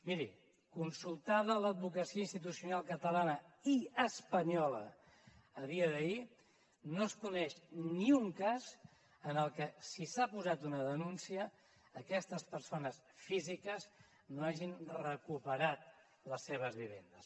miri consultada l’advocacia institucional catalana i espanyola a dia d’ahir no es coneix ni un cas en el que si s’ha posat una denúncia aquestes persones físiques no hagin recuperat les seves vivendes